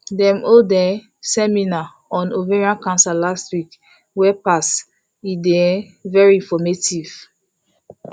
dem hold um seminar on ovarian cancer last week wey pass e dey um very informative